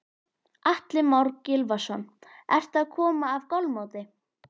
Atli Már Gylfason: Ertu að koma af golfmóti?